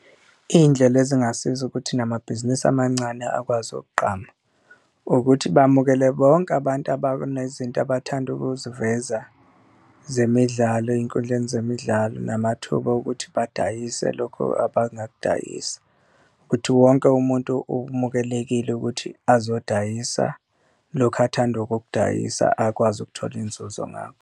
Iy'ndlela ezingasiza ukuthi namabhizinisi amancane akwazi kugqama ukuthi bamukele bonke abantu abanezinto abathanda ukuziveza zemidlalo eyinkundleni zemidlalo, namathuba okuthi badayise lokho abangakudayisa. Ukuthi wonke umuntu umukelekile ukuthi azodayisa lokhu athanda ukukudayisa akwazi ukuthola inzuzo ngakho.